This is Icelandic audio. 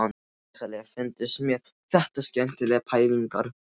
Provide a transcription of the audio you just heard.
Rosalega fundust mér þetta skemmtilegar pælingar.